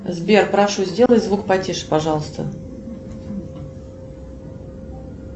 сбер прошу сделай звук потише пожалуйста